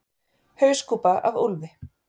Hauskúpa af úlfi.